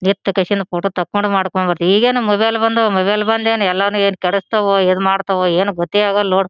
ನಿತ್ ಕೇಶಿಂದ ಫೋಟೋ ತೊಕೊಂಡು ಮಾಡಕೊಂಡ್ ಬರಿ ಈಗೇನ್ ಮೊಬೈಲ ಬಂದ್ವ್ ಮೊಬೈಲ ಬಂದ್ ಏನ್ ಎಲ್ಲಾವನ್ ಏನ್ ಕೆಡಸ್ತಾವೊ ಏನ್ ಮಾಡತ್ತವೋ ಏನ್ ಗೊತ್ತೇ ಆಗಲ್ಲಾ ನೋಡ್ .